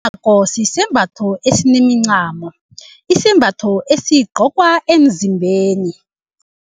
sisembatho enemincamo isembatho esigcokwa emzimbeni.